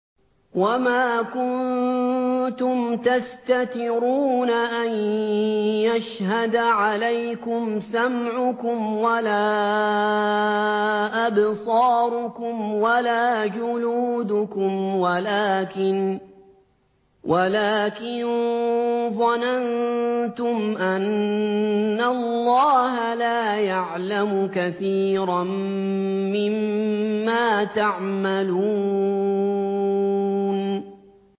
وَمَا كُنتُمْ تَسْتَتِرُونَ أَن يَشْهَدَ عَلَيْكُمْ سَمْعُكُمْ وَلَا أَبْصَارُكُمْ وَلَا جُلُودُكُمْ وَلَٰكِن ظَنَنتُمْ أَنَّ اللَّهَ لَا يَعْلَمُ كَثِيرًا مِّمَّا تَعْمَلُونَ